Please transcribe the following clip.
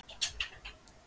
Áttu þér fyrirmyndir?